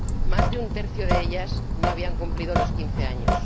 Más de un tercio de ellas no habían cumplido los quince años.